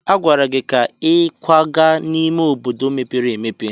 A gwara gị ka ị kwaga n'ime obodo mepere emepe!